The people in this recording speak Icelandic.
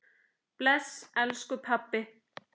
Bless, elsku pabbi.